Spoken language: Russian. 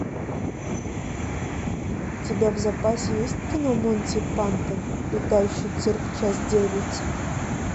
у тебя в запасе есть кино монти пайтон летающий цирк часть девять